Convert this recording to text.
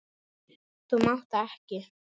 Þú mátt það ekki!